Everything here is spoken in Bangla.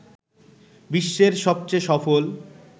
বিশ্বের সবচেয়ে সফল